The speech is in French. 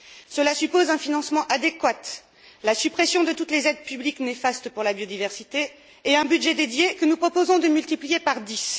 Cela suppose un financement adéquat, la suppression de toutes les aides publiques néfastes pour la biodiversité et un budget dédié que nous proposons de multiplier par dix.